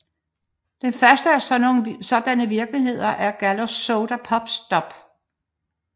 Den første af sådanne virksomheder er Galcos Soda Pop Stop